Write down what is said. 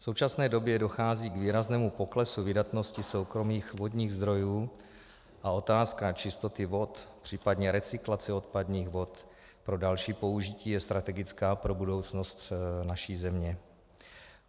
V současné době dochází k výraznému poklesu vydatnosti soukromých vodních zdrojů a otázka čistoty vod, případně recyklace odpadních vod pro další použití je strategická pro budoucnost naší země.